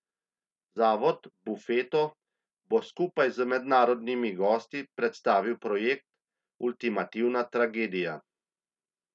Zavod Bufeto bo skupaj z mednarodnimi gosti predstavil projekt Ultimativna tragedija.